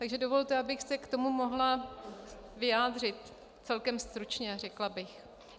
Takže dovolte, abych se k tomu mohla vyjádřit celkem stručně, řekla bych.